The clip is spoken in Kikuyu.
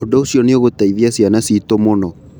Ũndũ ũcio nĩ ũgũteithia ciana citũ mũno.